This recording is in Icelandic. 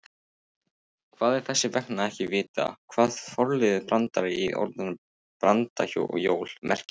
Það er þess vegna ekki vitað hvað forliðurinn branda- í orðinu brandajól merkir.